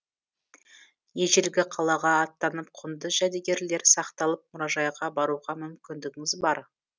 ежелгі қалаға аттанып құнды жәдігерлер сақталып мұражайға баруға мүмкіндігіңіз бар